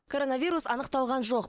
коронавирус анықталған жоқ